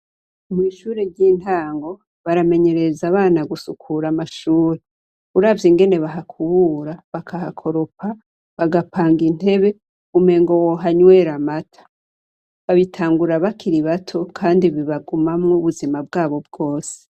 Mw' ishure ry' intango, baramenyereza abana gusukura amashure. Uravye ingene bahakubura, bakahakoropa, bagapanga intebe, umengo wohanywera amata. Babitangura bakiri bato , kandi babigumamwo ubuzima bwabo bwose.